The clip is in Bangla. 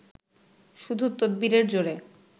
শুধু তদবিরের জোরে